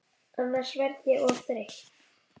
Annars verð ég of þreytt.